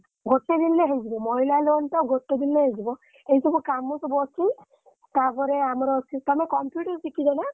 ଗୋଟେ ଦିନରେ ହେଇଯିବ ଏଇ ସବୁ କାମ ସବୁ ଅଛି ତାପରେ ଆମର ଅଛି ତମେ computer ଶିଖିଛ ନା?